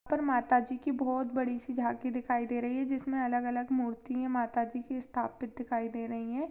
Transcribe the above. माता जी की बहुत बड़ी सी झाँकी दिखाई दे रही है जिसमे अलग-अलग मूर्ति हैमाता जी की स्थापित दिखाई दे रही है।